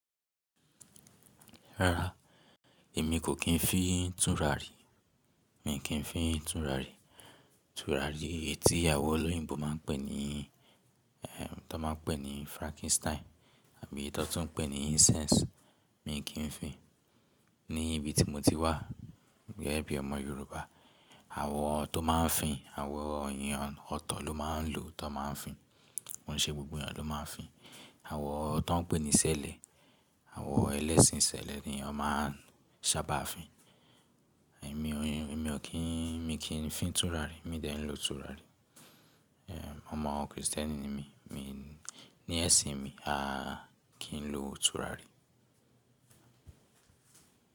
Rara, èmi kò kín fi túnrarí, mi kì n fi túnrarí. Túrarí etí àwọn olóyìnbo máa ń pè ní, eh, ti won máa ń pè ní Frankenstein àbí eyii ti won tún ń pè ní incense, mi kì n fi. Ní ibi tí mo ti wà gẹ́gẹ́ bí ọmọ Yorùbá, àwọn tó máa ń fi, àwọn èèyàn ọ̀tọ̀ ló máa ń lò ti won máa ń fi, kòun ṣe gbogbo èèyàn ló máa ń fi. Àwọn ti won pè ní sẹ́lẹ̀, àwọn ẹlẹ́sìn sẹ́lẹ̀ ni wọn máa ń sáabà fi. Mi o n, èmi o kín, mi kì n fi túnrarí, mi ò dẹ́ n lo túrarí. Eh, ọmọ Kristẹni ni mí, mi, ní ẹṣin mi, a kì n lo túrarí.